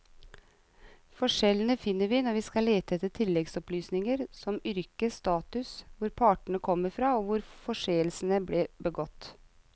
Forskjellene finner vi når vi skal lete etter tilleggsopplysninger som yrke, status, hvor partene kom fra og hvor forseelsen ble begått.